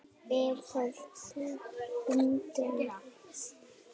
Er það þó umdeilt